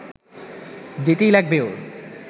যেতেই লাগবে ওর